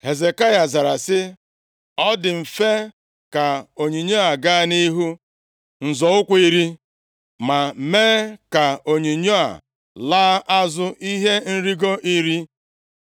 Hezekaya zara sị, “Ọ dị mfe ka onyinyo gaa nʼihu nzọ ụkwụ iri. Ma mee ka onyinyo a laa azụ ihe nrigo iri.”